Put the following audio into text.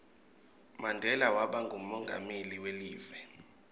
mandela waba ngumonqameli welive